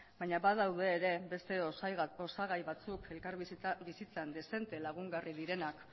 baina badaude ere beste osagai batzuk elkarbizitza bizitzan dezente lagungarri direnak